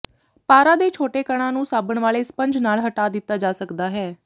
ਪਾਰਾ ਦੇ ਛੋਟੇ ਕਣਾਂ ਨੂੰ ਸਾਬਣ ਵਾਲੇ ਸਪੰਜ ਨਾਲ ਹਟਾ ਦਿੱਤਾ ਜਾ ਸਕਦਾ ਹੈ